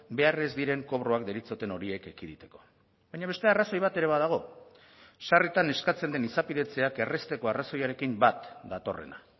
behar ez diren kobroak deritzoten horiek ekiditeko baina beste arrazoi bat ere badago sarritan eskatzen den izapidetzeak errazteko arrazoiarekin bat datorrena